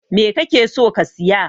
Me kake so ka siya?